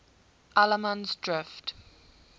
allemansdrift